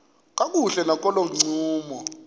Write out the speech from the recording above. kakuhle nakolo ncumo